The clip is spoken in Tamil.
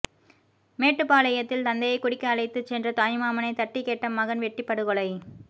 மேட்டுப்பாளையத்தில் தந்தையை குடிக்க அழைத்து சென்ற தாய்மாமனை தட்டிக் கேட்ட மகன் வெட்டி படுகொலை